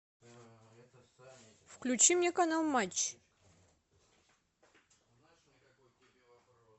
включи мне канал матч